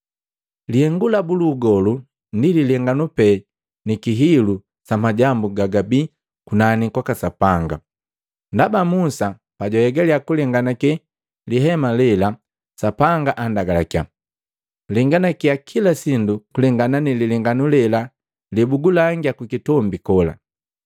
Lihengu labu lu ugolu ndi lilenganu pe ni kihilu sa majambu gagabii kunani kwaka Sapanga. Ndaba Musa pajwahegalia kulenganake lihema lela, Sapanga andagalakiya: “Lenganakia kila sindu kulengana ni lilenganu lela lebugulangia kukitombi kola.”